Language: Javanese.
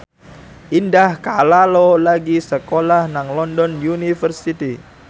Indah Kalalo lagi sekolah nang London University